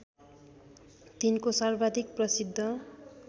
तिनको सर्वाधिक प्रसिद्ध